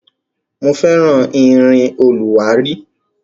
Mo fẹ́ràn irin olùwárí.